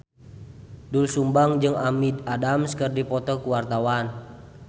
Doel Sumbang jeung Amy Adams keur dipoto ku wartawan